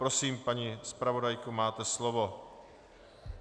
Prosím, paní zpravodajko, máte slovo.